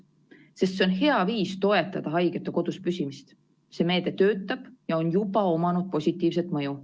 Sest see on hea viis toetada haigete koduspüsimist, see meede töötab ja on juba omanud positiivset mõju.